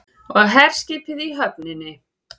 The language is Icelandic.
Og herskipið í höfninni.